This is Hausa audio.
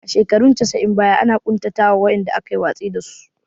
A shekarun casa'in baya ana ƙuntata wa wa'inda aka yi watsi da su